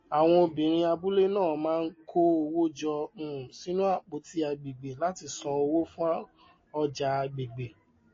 àwọn obìnrin abúlé náà máa ń kó owó jọ um sínú apoti agbègbè láti sàn owó fún ọjà agbègbè